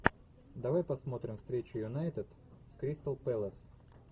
давай посмотрим встречу юнайтед с кристал пэлас